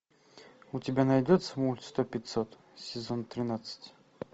у тебя найдется мульт сто пятьсот сезон тринадцать